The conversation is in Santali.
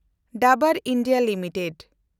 Dabur India limited